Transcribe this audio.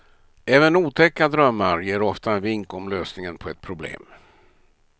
Även otäcka drömmar ger ofta en vink om lösningen på ett problem.